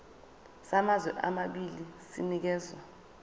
samazwe amabili sinikezwa